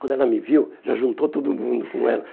Quando ela me viu, já juntou todo mundo com ela.